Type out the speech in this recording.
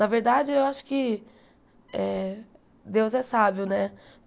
Na verdade, eu acho que eh... Deus é sábio, né?